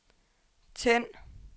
tænd